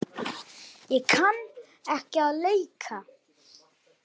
Ég kann ekki að leika.